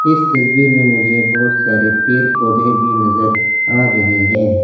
इस तस्वीर में मुझे बहोत सारे पेड़ पौधे भी नजर आ रहे हैं।